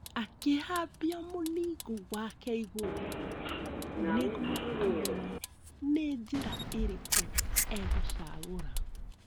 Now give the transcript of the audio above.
Akĩhambia mũningũ wake igũrũ nĩguo amenye nĩ njĩra ĩrĩkũ egũcagũra.